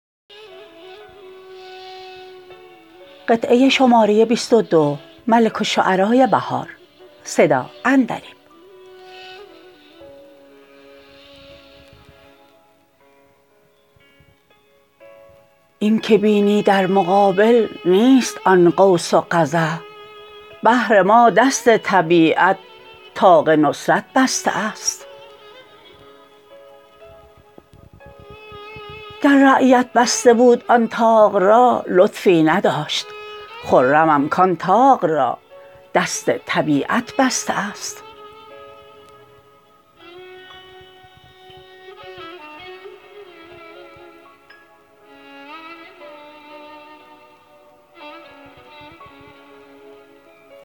این که بینی در مقابل نیست آن قوس قزح بهر ما دست طبیعت طاق نصرت بسته است گر رعیت بسته بود آن طاق را لطفی نداشت خرمم کان طاق را دست طبیعت بسته است